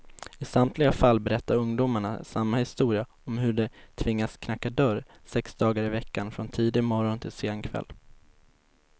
I samtliga fall berättar ungdomarna samma historia om hur de tvingats knacka dörr sex dagar i veckan, från tidig morgon till sen kväll.